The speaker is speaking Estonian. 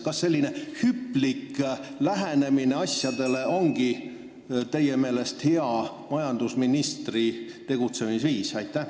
Kas selline hüplik lähenemine asjadele ongi teie meelest majandusministri hea tegutsemisviis?